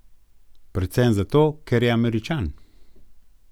Predvsem zato, ker je Američan.